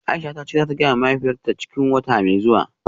Aisha tace zata gayawa mahaifiyarta cikin wata mai zuwa.